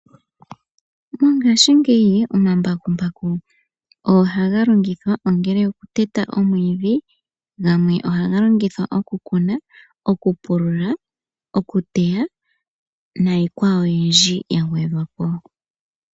Mongashingeyi omambakumbaku ohaga longithwa ongele okuteta omwiidhi, gamwe ohaga longithwa okukuna, okupulula, okuteya, nayikwawo oyindji ya gwedhwa po.